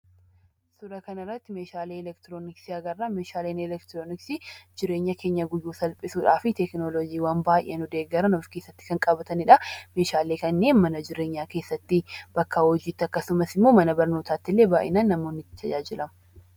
Suuraa kanarratti meeshaalee elektirooniksii agarra. Meeshaaleen elektirooniksii jireenya keenya guyyuu salphisuudhaaf teeknooloojii baay'ee kan of keesatti qabatanidha. Meeshaalee kanneen mana jireenyaa keessatti bakka hojiitti akkasumas mana keessatti baay'inaan namoota tajaajilu.